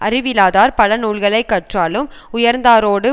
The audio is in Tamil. அறிவிலாதார் பல நூல்களை கற்றாலும் உயர்ந்தாரோடு